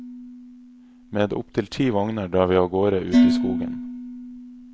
Med opptil ti vogner drar vi av gårde ut i skogen.